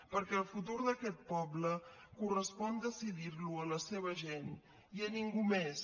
perquè el futur d’aquest poble correspon decidir lo a la seva gent i a ningú més